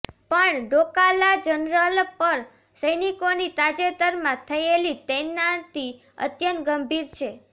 પણ ડોકા લા જનરલ પર સૈનિકોની તાજેતરમાં થયેલી તૈનાતી અત્યંત ગંભીર છે